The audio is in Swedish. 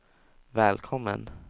välkommen